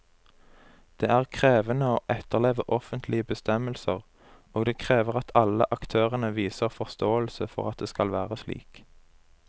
Det er krevende å etterleve offentlige bestemmelser, og det krever at alle aktørene viser forståelse for at det skal være slik.